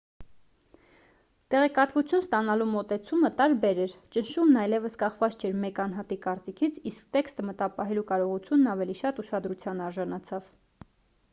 տեղեկատվություն ստանալու մոտեցումը տարբեր էր ճնշումն այլևս կախված չէր մեկ անհատի կարծիքից իսկ տեքստը մտապահելու կարողությունն ավելի շատ ուշադրության արժանացավ